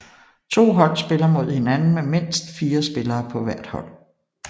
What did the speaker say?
To hold spiller mod hinanden med mindst fire spillere på hver hold